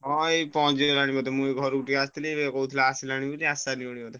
ହଁ ଏଇ ପହଁଞ୍ଚିଗଲାଣି ବୋଧେ ମୁଁ ଏଇ ଘରୁକୁ ଟିକେ ଆସିଥିଲି ଏବେ କହୁଥିଲେ ଆସିଲାଣି ବୋଲି ଆସିସାରିବଣି ବୋଧେ।